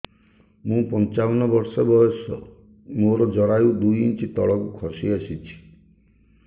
ମୁଁ ପଞ୍ଚାବନ ବର୍ଷ ବୟସ ମୋର ଜରାୟୁ ଦୁଇ ଇଞ୍ଚ ତଳକୁ ଖସି ଆସିଛି